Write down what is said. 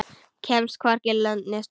Kemst hvorki lönd né strönd.